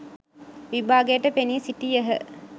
විභාගයට පෙනී සිටියහ.